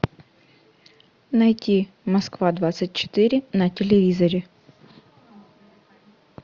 найти москва двадцать четыре на телевизоре